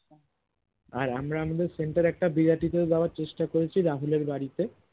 আর আমরা আমাদের center এ একটা বিরতি দেয়ার চেষ্টা করেছি রাহুল এর বাড়িতে